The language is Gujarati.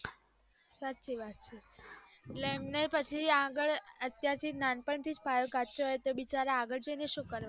સાચી વાત છે એટલે એમને આગળ અત્યારથી નાનપણથીજ પાયો કાચો હોય તો આગળ જઈને સુ કરવાના